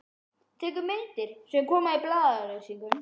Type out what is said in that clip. Tekur myndir sem koma í blaðaauglýsingum.